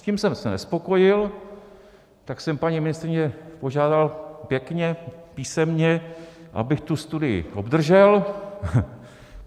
S tím jsem se nespokojil, tak jsem paní ministryni požádal pěkně písemně, abych tu studii obdržel.